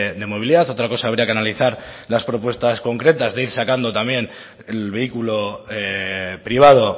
de movilidad otra cosa habría que analizar las propuestas concretas de ir sacando también el vehículo privado